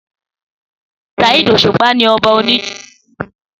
Saheed Òṣùpá ní ọba orin fújì